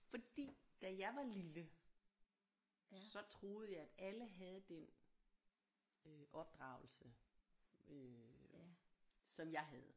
Fordi da jeg var lille så troede jeg at alle havde den øh opdragelse øh som jeg havde